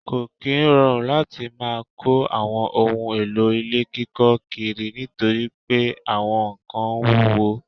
Ko kí ń rọrùn láti má kò àwọn ohùn èlò ilé kíkọ kiri nítorí pé àwọn kán wuwo